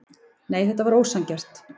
Nei, þetta var ósanngjarnt.